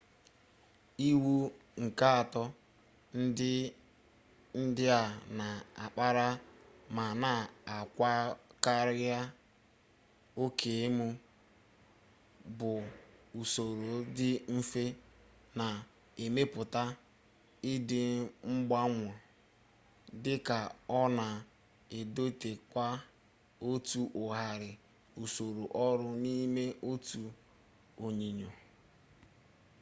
iwu nke atọ ndị a na-akparị ma na-akwakarị oke emu bụ usoro dị mfe na-emepụta ịdịmgbanwo dị ka ọ na-edotekwa otu ụhara usoro ọrụ n'ime otu onyinyo